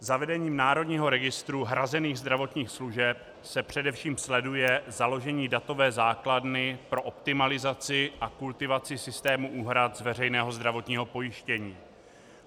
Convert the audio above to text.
Zavedením Národního registru hrazených zdravotních služeb se především sleduje založení datové základny pro optimalizaci a kultivaci systému úhrad z veřejného zdravotního pojištění.